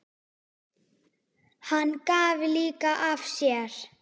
Hann gaf líka af sér.